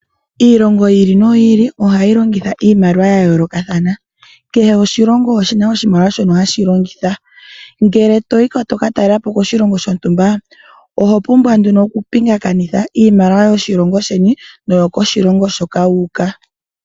Iilongo yi ili noyi ili ohayi longitha iimaliwa ya yoolokathana. Kehe oshilongo oshina oshimaliwa shono hashi longitha. Ngele toka talelapo koshilongo shontumba, oho pumbwa nduno okupingakanitha iimaliwa yoshilongo sheni, naambyoka yokoshilongo hoka wu uka.